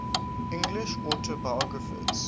english autobiographers